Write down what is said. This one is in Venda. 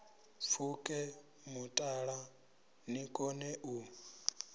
pfuke mutala ni kone u